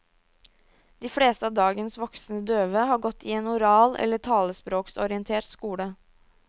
De fleste av dagens voksne døve har gått i en oral eller talespråksorientert skole.